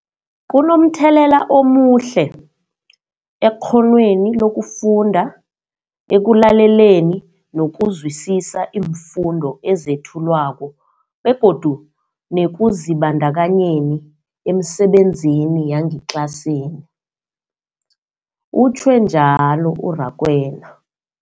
Kunomthelela omuhle ekghonweni lokufunda, ekulaleleni nokuzwisiswa iimfundo ezethulwako begodu nekuzibandakanyeni emisebenzini yangetlasini, utjhwe njalo u-Rakwena.